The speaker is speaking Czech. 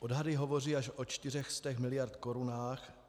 Odhady hovoří až o 400 miliard korun.